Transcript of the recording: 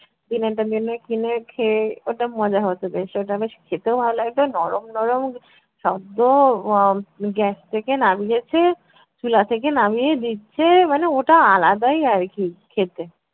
দিনের টা দিনে কিনে খেয়ে ওটা মজা হত বেশ, ওটা বেশ খেতেও ভালো লাগতো নরম নরম সদ্য আহ gas থেকে নামিয়েছে চুলা থেকে নামিয়ে দিচ্ছে মানে ওটা আলাদাই আর কী খেতে।